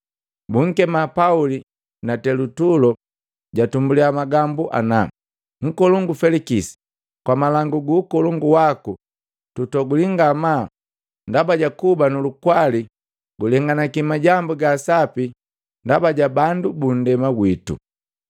Bunkema Pauli na Telutulo jatumbulia magambu ana. “Nkolongu Felikisi, kwa malangu gu ukolongu waku tutoguli ngamaa ndaba jakuba nulukwali gulenganaki majambu ga asapi ndaba ja bandu bunndema gwitu.